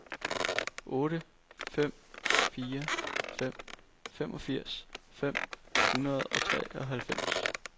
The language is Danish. otte fem fire fem femogfirs fem hundrede og treoghalvfems